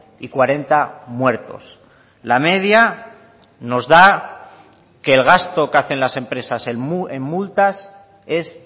y cuarenta muertos la media nos da que el gasto que hacen las empresas en multas es